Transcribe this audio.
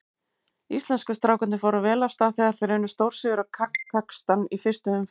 Íslensku strákarnir fóru vel af stað þegar þeir unnu stórsigur á Kasakstan í fyrstu umferð.